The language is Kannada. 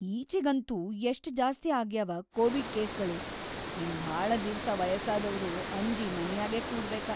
ಈಚಿಗಂತೂ ಎಷ್ಟ್ ಜಾಸ್ತಿ ಆಗ್ಯಾವ ಕೋವಿಡ್‌ ಕೇಸ್ಗಳು‌ ಇನ್‌ ಭಾಳ ದಿವ್ಸ ವಯಸ್ಸಾದವ್ರು ಅಂಜಿ ಮನ್ಯಾಗೇ ಕೂಡ್ಬೇಕ.